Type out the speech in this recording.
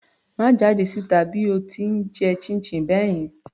Má jáde síta bí o ti ń jẹ chinchin báyẹn.